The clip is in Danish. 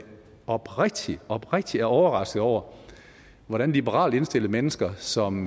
oprigtig oprigtig overrasket over hvordan liberalt indstillede mennesker som